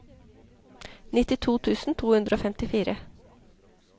nittito tusen to hundre og femtifire